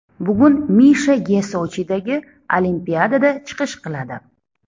Bugun Misha Ge Sochidagi Olimpiadada chiqish qiladi.